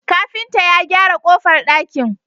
Kafinta ya gyara kofar dakin